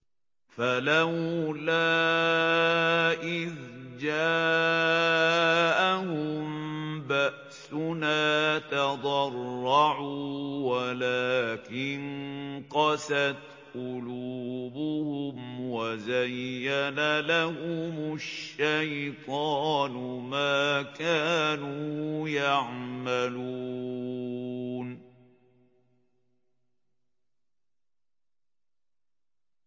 فَلَوْلَا إِذْ جَاءَهُم بَأْسُنَا تَضَرَّعُوا وَلَٰكِن قَسَتْ قُلُوبُهُمْ وَزَيَّنَ لَهُمُ الشَّيْطَانُ مَا كَانُوا يَعْمَلُونَ